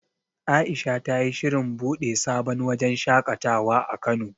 Aisha ta yi shirin buɗe sabon wajen shaƙatawa a Kano.